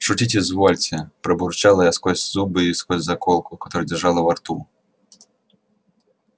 шутить извольте пробурчала я сквозь зубы и сквозь заколку которую держала во рту